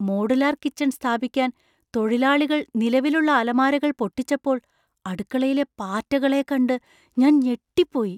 Modular kitchen സ്ഥാപിക്കാൻ തൊഴിലാളികൾ നിലവിലുള്ള അലമാരകൾ പൊട്ടിച്ചപ്പോൾ അടുക്കളയിലെ പാറ്റകളെ കണ്ട് ഞാൻ ഞെട്ടിപ്പോയി.